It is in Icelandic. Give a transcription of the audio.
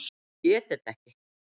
Ég get þetta ekki.